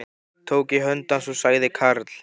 Tók í hönd hans og sagði Karl